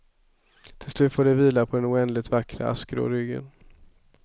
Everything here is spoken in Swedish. Till slut får det vila på den oändligt vackra askgrå ryggen.